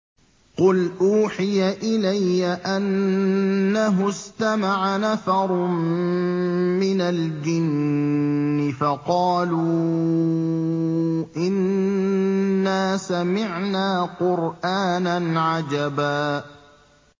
قُلْ أُوحِيَ إِلَيَّ أَنَّهُ اسْتَمَعَ نَفَرٌ مِّنَ الْجِنِّ فَقَالُوا إِنَّا سَمِعْنَا قُرْآنًا عَجَبًا